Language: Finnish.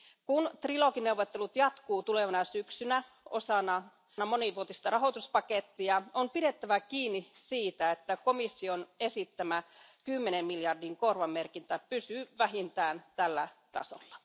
Kun trilogineuvottelut jatkuvat tulevana syksynä osana monivuotista rahoituspakettia, on pidettävä kiinni siitä, että komission esittämä kymmenen miljardin korvamerkintä pysyy vähintään tällä tasolla.